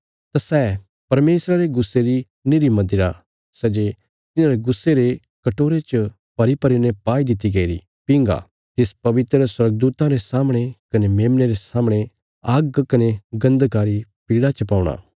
तां सै परमेशरा रे गुस्से री निरी मदिरा सै जे तिन्हांरे गुस्से रे कटोरे च भरीभरी ने पाई दित्ति गईरी पींगा तिस पवित्र स्वर्गदूतां रे सामणे कने मेमने रे सामणे आग्ग कने गन्धका री पीड़ा च पौणा